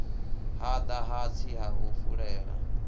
hada hatsi ha u fulela